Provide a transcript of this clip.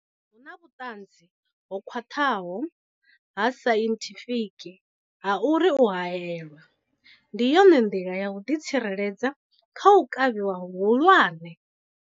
Hu na vhuṱanzi ho khwaṱhaho ha sainthifiki ha uri u haelwa ndi yone nḓila ya u ḓitsireledza kha u kavhiwa hu hulwane.